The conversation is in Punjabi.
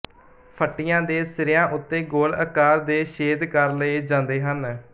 ਫੱਟੀਆਂ ਦੇ ਸਿਰਿਆਂ ਉੱਤੇ ਗੋਲ ਆਕਾਰ ਦੇ ਛੇਦ ਕਰ ਲਏ ਜਾਂਦੇ ਹਨ